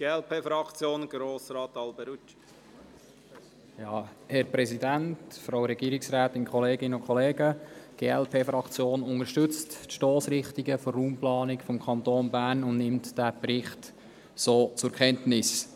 Die glp unterstützt die Stossrichtungen der Raumplanung des Kantons Bern und nimmt den Bericht zur Kenntnis.